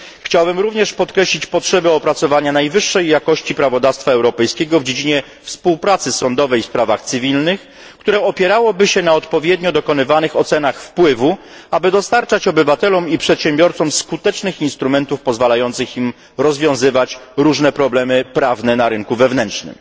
Chciałbym również podkreślić potrzebę opracowania najwyższej jakości prawodawstwa europejskiego w dziedzinie współpracy sądowej w sprawach cywilnych, które opierałoby się na odpowiednio dokonywanych ocenach wpływu, aby dostarczać obywatelom i przedsiębiorcom skutecznych instrumentów pozwalających im rozwiązywać różne problemy prawne na rynku wewnętrznym.